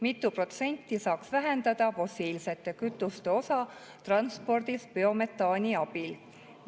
Mitu protsenti saaks vähendada fossiilsete kütuste osa transpordis biometaani abil?